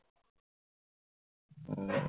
হম